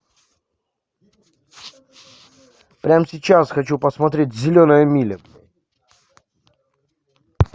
прям сейчас хочу посмотреть зеленая миля